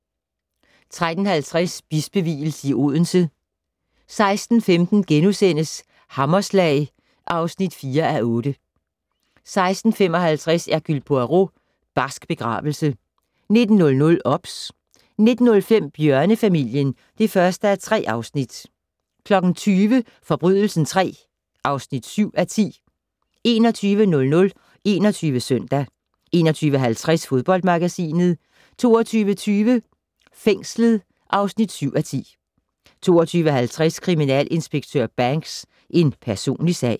13:50: Bispevielse i Odense 16:15: Hammerslag (4:8)* 16:55: Hercule Poirot: Barsk begravelse 19:00: OBS 19:05: Bjørnefamilien (1:3) 20:00: Forbrydelsen III (7:10) 21:00: 21 Søndag 21:50: Fodboldmagasinet 22:20: Fængslet (7:10) 22:50: Kriminalinspektør Banks: En personlig sag